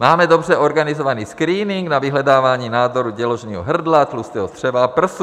Máme dobře organizovaný screening na vyhledávání nádoru děložního hrdla, tlustého střeva a prsu.